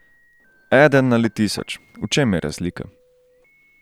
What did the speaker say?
Eden ali tisoč, v čem je razlika?